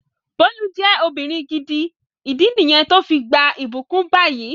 Bólú je ọmọbìnrin gidi, ìdí niyen to fi gbà ibukun bayi